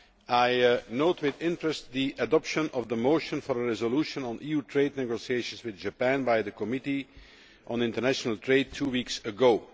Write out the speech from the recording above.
I note with interest the adoption of the motion for a resolution on EU trade negotiations with Japan by the Committee on International Trade two weeks ago.